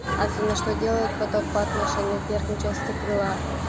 афина что делает поток по отношению к верхней части крыла